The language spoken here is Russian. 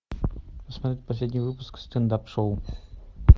посмотреть последний выпуск стендап шоу